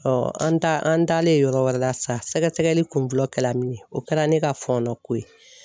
an ta an taalen yɔrɔ wɛrɛ la sa , sɛgɛsɛgɛli kun fɔlɔ kɛla min ye o kɛra ne ka fɔnɔ ko ye.